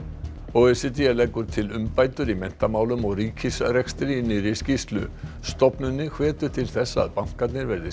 o e c d leggur til umbætur í menntamálum og ríkisrekstri í nýrri skýrslu stofnunin hvetur til þess að bankarnir verði